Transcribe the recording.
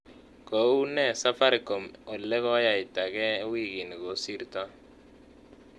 Ko uu nee safaricom ole koyaita gee wikini kosirto